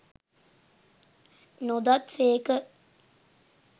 නොදත් සේක